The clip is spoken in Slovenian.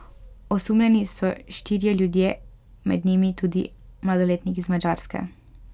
Osumljeni so štirje ljudje, med njimi tudi mladoletnik iz Madžarske.